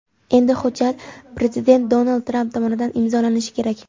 Endi hujjat prezident Donald Tramp tomonidan imzolanishi kerak.